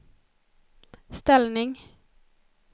ställning